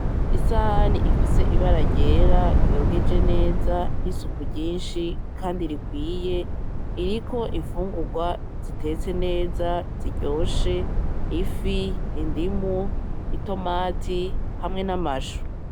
Isahani ifise ibara ryera yogeje neza nisuku ryinshi kandi rikwiye, iriko imfungurwa zitetse neza ziryoshe , ifi, indimu itomati hamwe n'amashu.